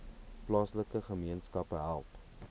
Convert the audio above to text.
plaaslike gemeenskappe help